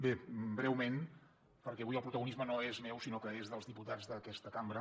bé breument perquè avui el protagonisme no és meu sinó que és dels diputats d’aquesta cambra